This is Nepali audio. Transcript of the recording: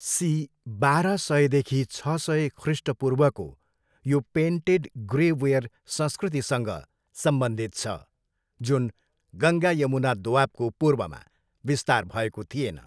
सी बाह्र सयदेखि छ सय ख्रिस्टपूर्वको यो पेन्टेड ग्रे वेयर संस्कृतिसँग सम्बन्धित छ, जुन गङ्गा यमुना दोआबको पूर्वमा विस्तार भएको थिएन।